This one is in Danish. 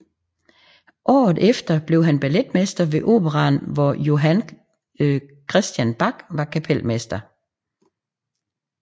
Året efter blev han balletmester ved operaen hvor Johan Christian Bach var kapelmester